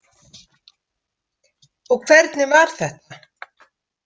Og hvernig var þetta?